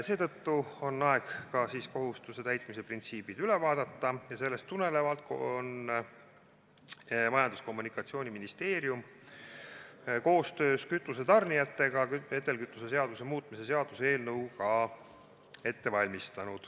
Seetõttu on aeg ka kohustuse täitmise printsiibid üle vaadata ning sellest tulenevalt on Majandus- ja Kommunikatsiooniministeerium koostöös kütuse tarnijatega ette valmistanud vedelkütuse seaduse muutmise seaduse eelnõu.